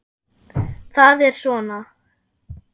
Það er svona